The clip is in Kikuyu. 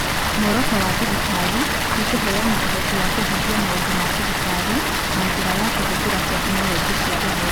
Muoroto wa thirikari nĩ kũheana ũhoti wa kũhingia maũndũ ma thirikari na njĩra ya kũhũthĩra tekinolonjĩ cia ũhoro.